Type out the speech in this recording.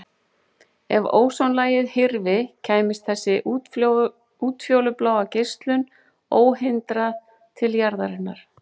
Ef ósonlagið hyrfi kæmist þessi útfjólubláa geislun óhindrað til jarðarinnar.